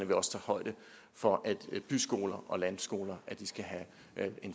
vi også tager højde for at byskoler og landskoler skal have